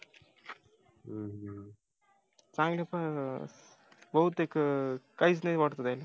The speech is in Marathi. चांगलच बहुतेक काहीच नाही वाटत त्यांना